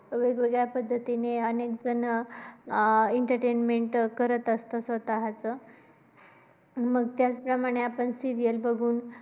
वेगवेगळ्या पद्धतीने अनेकजण entertainment करत असतात स्वतःच. मग त्याच प्रमाणे आपण serials बघून